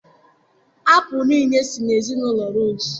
Apụl niile si na ezinụlọ rose.